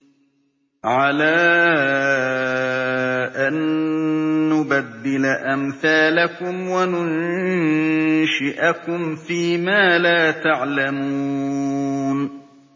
عَلَىٰ أَن نُّبَدِّلَ أَمْثَالَكُمْ وَنُنشِئَكُمْ فِي مَا لَا تَعْلَمُونَ